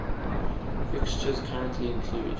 fixtures currently include